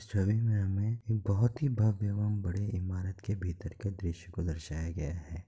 छवि में हमें एक बहुत ही भव्य और बड़ी इमारत के भीतर का दृश्य को दर्शाया है।